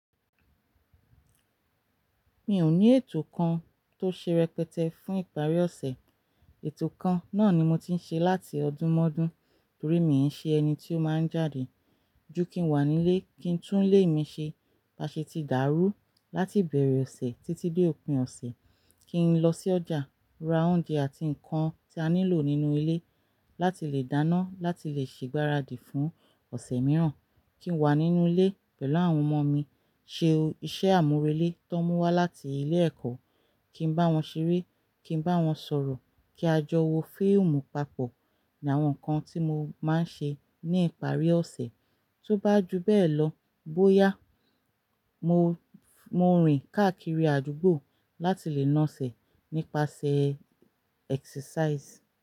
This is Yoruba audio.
Mi ò ní ètò kan tó ṣe rẹpẹtẹ fún ìparí ọ̀sẹ̀. Ètò kan náà ni mo ti ń ṣe láti ọdún mọ́dún, torí mi ń ṣe ẹni tí ó máa ń jáde. Jú kí n wà nílé, kí n tún ilé mi ṣe. Ba ṣe ti dàrú láti ibẹ̀rẹ̀ ọ̀sẹ̀ títí dé òpin ọ̀sẹ̀. Kí n lọ sí ọjà ra oúnjẹ àti nǹkan tí a nílò nínú ilé láti lè dáná, láti lè ṣe ìgbáradì fún ọ̀sẹ̀ mìíràn. Kí n wà nínú ilé pẹ̀lú àwọn ọmọ mi, ṣé iṣẹ́ àmúrelé tí wọ́n mú wá láti ilé-ẹ̀kọ́, kí n bá wọ́n ṣeré, kí n báwọn s'ọ̀rọ̀, kí a jọ wo fíìmù papọ̀ láwọn ǹkan tí mo ma ń ṣe ní ìparí ọ̀sẹ̀. Tó bá ju bẹ́ẹ̀ lọ bóyá mo rìn káàkiri àdúgbò láti lè na sẹ̀ nípasẹ̀ exercise.